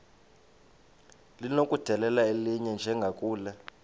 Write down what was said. linokudedela elinye njengakule